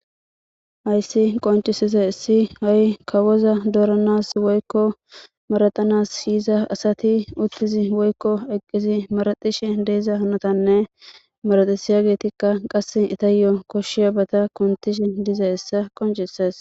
hayssi qoncisiizayissi ha'i kawoza doranas woykko maratanas yiiza asati uttidi woykko eqqidi maratishshe de'iza hanotanne maratisiiyageetikka qasse itaayo koshshiyabata kuntiishin dizayayssa qoncisees